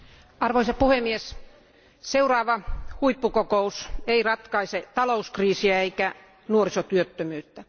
Arvoisa puhemies, seuraava huippukokous ei ratkaise talouskriisiä eikä nuorisotyöttömyyttä.